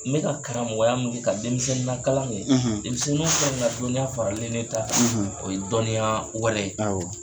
N bɛ ka karamɔgɔya mun kɛ ka denmisɛn lakalan kɛ, , denmisɛnninw fɛnɛ ka dɔnniya faralen ne ta kan, ,o ye dɔnniya wɛrɛ. Awɔ.